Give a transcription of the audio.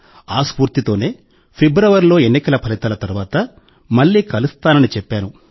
ఈ స్ఫూర్తితోనే ఫిబ్రవరిలో ఎన్నికల ఫలితాల తర్వాత మళ్లీ కలుస్తానని చెప్పాను